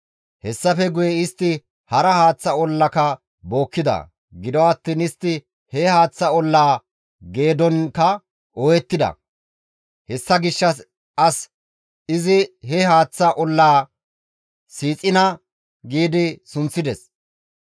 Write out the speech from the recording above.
Hessafe guye istti hara haaththa ollaka bookkida; gido attiin istti he haaththa ollaa geedonkka ooyettida; hessa gishshas izi he haaththa ollaa, «Siixina» gi sunththides.